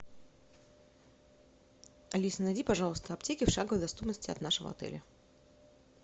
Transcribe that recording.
алиса найди пожалуйста аптеки в шаговой доступности от нашего отеля